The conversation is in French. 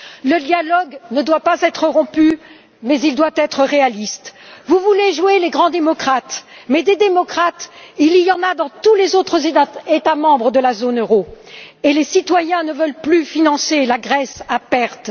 Le dialogue ne doit pas être rompu mais il doit être réaliste. Vous voulez jouer les grands démocrates, mais des démocrates, il y en a dans tous les autres États membres de la zone euro, et les citoyens ne veulent plus financer la Grèce à perte.